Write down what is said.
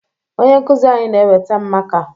Onye nkụzi anyị na-eweta maka